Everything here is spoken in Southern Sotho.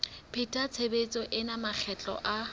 pheta tshebetso ena makgetlo a